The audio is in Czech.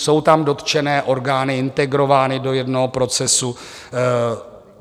Jsou tam dotčené orgány integrovány do jednoho procesu.